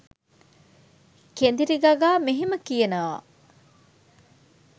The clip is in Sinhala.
කෙඳිරි ගගා මෙහෙම කියනවා.